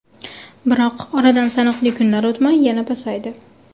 Biroq, oradan sanoqli kunlar o‘tmay yana pasaydi.